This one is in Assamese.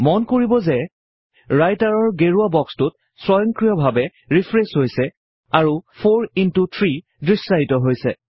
মন কৰিব যে ৰাইটাৰ গেৰুৱা বক্সটো স্বয়ংক্ৰিয় ভাবে ৰিফ্ৰেচ হৈছে আৰু 4 ইন্ত 3 দৃশ্যায়িত কৰিছে